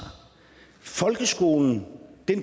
folkeskolen